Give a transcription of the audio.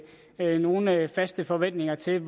jeg nogen faste forventninger til